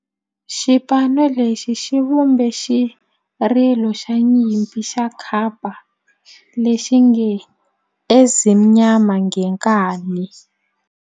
Xipano lexi xi vumbe xirilo xa nyimpi xa kampa lexi nge 'Ezimnyama Ngenkani'.